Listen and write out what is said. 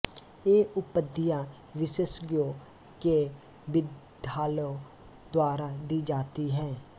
ये उपाधियाँ विशेषज्ञों के विद्यालयों द्वारा दी जाती हैं